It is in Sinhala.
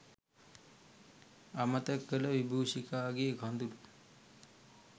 අමතක කළ විබූෂිකාගේ කඳුළු